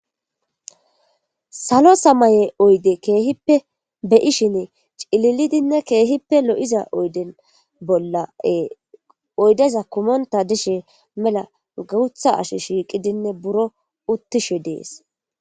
Salo samaye oyde keehippe beyishine cililidinne keehippe lo7iza oyden bolla ee oydeza kumonththa dishe mela guuththa asi shiiqidinne buro uththishe de7ees.